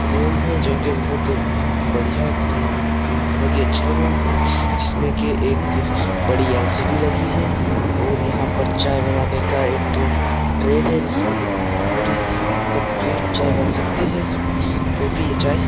Room है जो कि बोहोत बढ़िया उम्म उम्म बोहोत ही अच्छा रूम है जिसमें कि एक बड़ी एल_सी_डी लगी है और यहां पर चाय बनाने का एक ट्रे है जिसमें कि पूरी कंप्लीट चाय बन सकती है कॉफी या चाय।